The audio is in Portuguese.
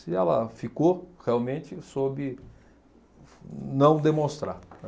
Se ela ficou, realmente soube não demonstrar, né?